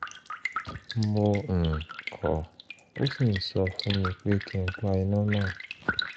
mo um kọ̀ ó sì ń sọ fún mi pé kí n pa iná náà